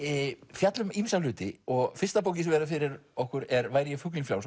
fjalla um ýmsa hluti og fyrsta bókin sem verður fyrir okkur er væri ég fuglinn frjáls